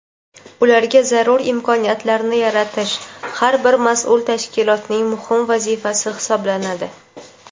Ularga zarur imkoniyatlarni yaratish har bir mas’ul tashkilotning muhim vazifasi hisoblanadi.